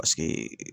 Paseke